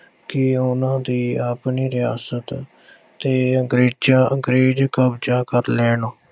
ਕਿ ਉਨ੍ਹਾਂ ਦੀ ਆਪਣੀ ਰਿਆਸਤ 'ਤੇ ਅੰਗਰੇਜ਼ਾਂ, ਅੰਗਰੇਜ਼ ਕਬਜ਼ਾ ਕਰ ਲੈਣ।